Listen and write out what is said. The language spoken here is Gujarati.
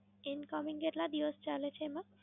Incoming કેટલા દિવસ ચાલે છે મેમ?